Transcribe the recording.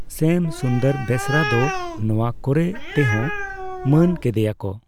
ᱥᱭᱟᱢ ᱥᱩᱱᱫᱚᱨ ᱵᱮᱥᱨᱟ ᱫᱚ ᱱᱚᱣᱟ ᱠᱚᱨᱮ ᱛᱮ ᱦᱚᱸ ᱢᱟᱹᱱ ᱠᱟᱫᱮᱭᱟ ᱠᱚ ᱺ